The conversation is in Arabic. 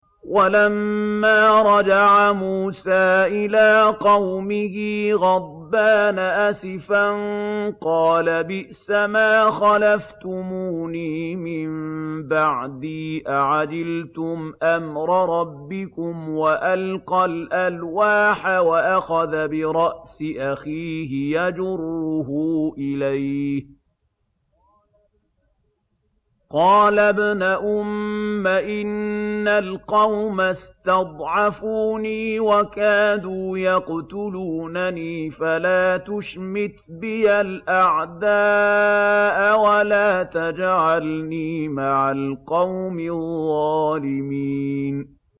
وَلَمَّا رَجَعَ مُوسَىٰ إِلَىٰ قَوْمِهِ غَضْبَانَ أَسِفًا قَالَ بِئْسَمَا خَلَفْتُمُونِي مِن بَعْدِي ۖ أَعَجِلْتُمْ أَمْرَ رَبِّكُمْ ۖ وَأَلْقَى الْأَلْوَاحَ وَأَخَذَ بِرَأْسِ أَخِيهِ يَجُرُّهُ إِلَيْهِ ۚ قَالَ ابْنَ أُمَّ إِنَّ الْقَوْمَ اسْتَضْعَفُونِي وَكَادُوا يَقْتُلُونَنِي فَلَا تُشْمِتْ بِيَ الْأَعْدَاءَ وَلَا تَجْعَلْنِي مَعَ الْقَوْمِ الظَّالِمِينَ